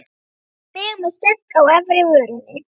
Mig með skegg á efri vörinni.